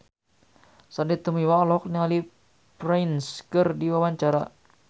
Sandy Tumiwa olohok ningali Prince keur diwawancara